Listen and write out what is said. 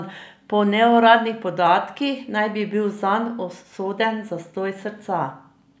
Po neuradnih podatkih naj bi bil zanj usoden zastoj srca.